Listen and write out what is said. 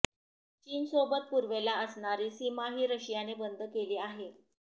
चीन सोबत पूर्वेला असणारी सीमाही रशियाने बंद केली आहे